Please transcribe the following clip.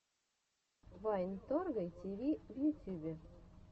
вайн торгай тиви в ютюбе